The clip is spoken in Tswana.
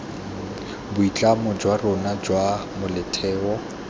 boitlamo jwa rona jwa molaotheo